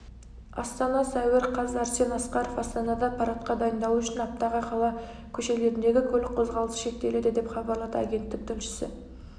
астана сәуір қаз арсен асқаров астанада парадқа дайындалу үшін аптаға қала көшелеріндегі көлік қозғалысы шектеледі деп хабарлады агенттік тілшісі